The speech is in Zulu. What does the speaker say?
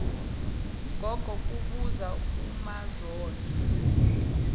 gogo kubuza umazondo